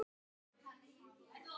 bað Birkir.